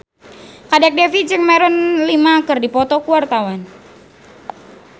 Kadek Devi jeung Maroon 5 keur dipoto ku wartawan